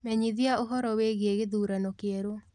menyithia ũhoro wĩĩgĩe githurano kieru